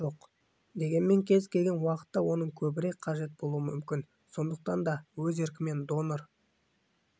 жоқ дегенмен кез келген уақытта оның көбірек қажет болуы мүмкін сондықтан да өз еркімен донор